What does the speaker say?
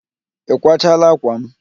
Ị kwachala ákwà m?